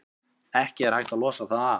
Ekki er hægt að losa það af.